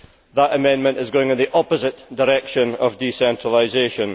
That amendment is going in the opposite direction of decentralisation.